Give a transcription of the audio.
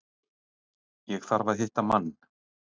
Ég þarf að hitta mann.